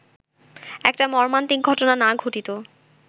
একটা মর্মান্তিক ঘটনা না ঘটিত